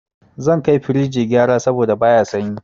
Zan kai firij gyara saboda baya sanyi.